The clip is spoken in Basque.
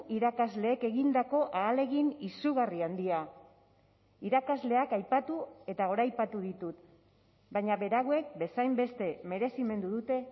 irakasleek egindako ahalegin izugarri handia irakasleak aipatu eta goraipatu ditut baina berauek bezainbeste merezimendu dute